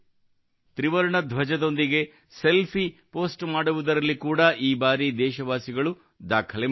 ತ್ರಿವರ್ಣ ಧ್ವಜದೊಂದಿಗೆ selfie post ಮಾಡುವುದರಲ್ಲಿ ಕೂಡಾ ಈ ಬಾರಿ ದೇಶವಾಸಿಗಳು ದಾಖಲೆ ಮಾಡಿದ್ದಾರೆ